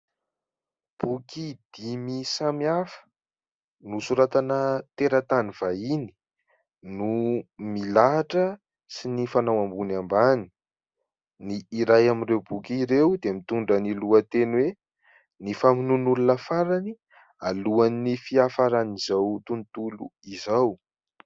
Boky dimy samihafa nosoratana teratany vahiny no milahatra sy mifanao ambony ambany, ny iray amin'ireo boky ireo dia mitondra ny lohateny hoe : "Ny famonoan'olona farany alohan'ny fiafaran'izao tontolo izao".